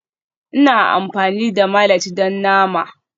Ina amfani da mallet don nama